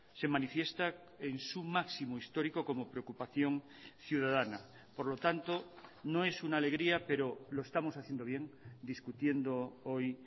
se manifiesta en su máximo histórico como preocupación ciudadana por lo tanto no e suna alegría pero lo estamos haciendo bien discutiendo hoy